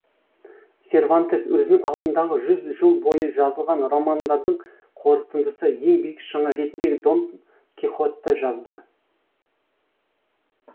сервантес өзінің алдындағы жүз жыл бойы жазылған романдардың қорытындысы ең биік шыңы ретінде донт кихотты жазды